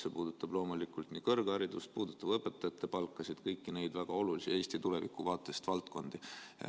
See puudutab loomulikult nii kõrgharidust, õpetajate palka kui ka kõiki Eesti tuleviku vaates väga olulisi valdkondi.